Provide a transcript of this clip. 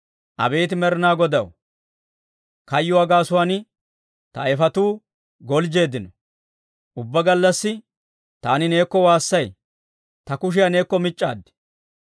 Abeet Med'inaa Godaw, kayyuwaa gaasuwaan ta ayifetuu galjjeeddino. Ubbaa gallassi taani neekko waassay; ta kushiyaa neekko mic'c'aad.